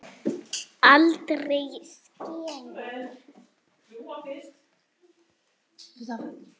Aldrei skemur.